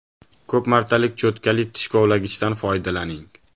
Ko‘p martalik cho‘tkali tish kovlagichdan foydalaning.